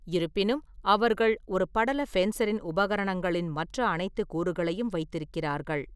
இருப்பினும், அவர்கள் ஒரு படல ஃபென்சரின் உபகரணங்களின் மற்ற அனைத்து கூறுகளையும் வைத்திருக்கிறார்கள்.